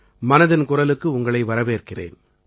மனதின் குரலுக்கு உங்களை வரவேற்கிறேன்